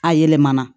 A yɛlɛmana